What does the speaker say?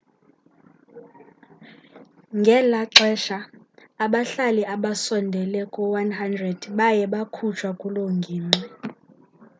ngela xesha abahlali abasondele ku-100 baye bakhutshwa kuloo ngingqi